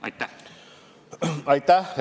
Aitäh!